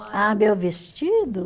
Ah, meu vestido?